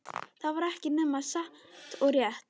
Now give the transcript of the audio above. Það var ekki nema satt og rétt.